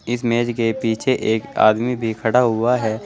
इस मेज के पीछे एक आदमी भी खड़ा हुआ है।